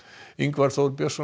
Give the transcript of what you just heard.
Ingvar Þór Björnsson